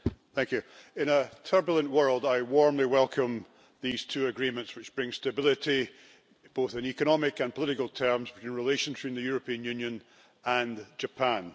Madam President, in a turbulent world I warmly welcome these two agreements, which bring stability, both in economic and political terms, to the relations between the European Union and Japan.